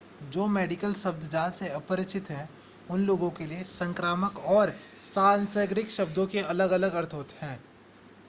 जो मेडिकल शब्दजाल से अपरिचित हैं उन लोगों के लिए संक्रामक और सांसर्गिक शब्दों के अलग-अलग अर्थ हैं